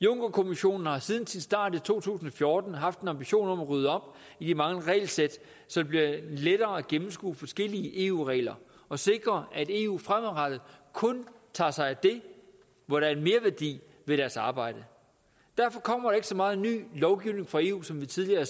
junckerkommissionen har siden sin start i to tusind og fjorten haft en ambition om at rydde op i de mange regelsæt så det bliver lettere at gennemskue forskellige eu regler og sikre at eu fremadrettet kun tager sig af det hvor der er en merværdi ved deres arbejde derfor kommer der ikke så meget ny lovgivning fra eu som vi tidligere